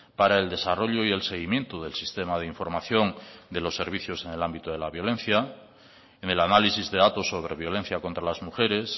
para el desarrollo y el seguimiento del sistema de información de los servicios en el ámbito de la violencia en el análisis de datos sobre violencia contra las mujeres